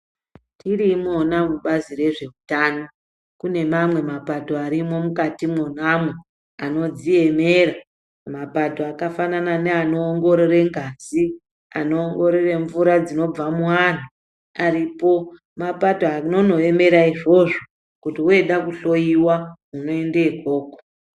Tiri imona mubazi rezveutano, kune mamwe mapato arimwo mukati mwona mwo anodziemera. Mapato akafanana neanongorore ngazi. Anoongorore mvura dzinobva muantu. Aripo mapato anonoemera izvozvo kuti woda kuhloiwa unoenda ikoko.